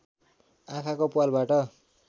आँखाको प्वालबाट